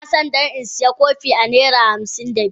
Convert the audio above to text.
I na don in siya kopin a naira hamsin da biyar.